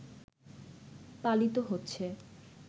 পালিত হচ্ছে